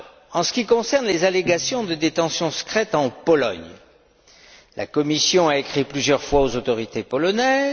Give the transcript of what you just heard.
En ce qui concerne les allégations de détentions secrètes en Pologne, la Commission a écrit plusieurs fois aux autorités polonaises.